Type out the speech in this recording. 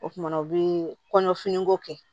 O kumana u bi kɔɲɔfiniko kɛ